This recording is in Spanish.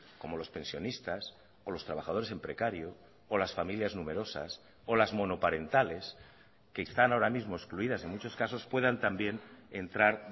como los pensionistas o los trabajadores en precario o las familias numerosas o las monoparentales que están ahora mismo excluidas en muchos casos puedan también entrar